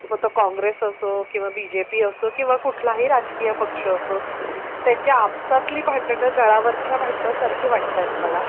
मग तो कॉंग्रेस असो किंवा बीजेपी असोत किंवा कुठला ही राजकीय पक्ष असोत त्यांची आपसातली भांडण नळावर च्या भांडणा सारखी वाटतात मला.